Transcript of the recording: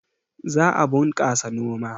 Za a bunƙasa noma